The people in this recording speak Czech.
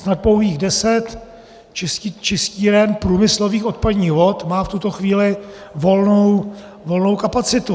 Snad pouhých deset čistíren průmyslových odpadních vod má v tuto chvíli volnou kapacitu.